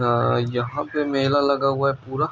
यहां पर मेला लगा हुआ है पूरा